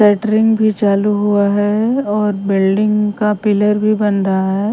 Catering भी चालू हुआ है और बिल्डिंग का पिलर भी बन रहा है।